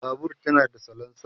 Babur tana da salensa